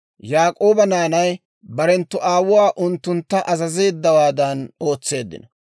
Yaak'ooba naanay barenttu aawuu unttuntta azazeeddawaadan ootseeddino;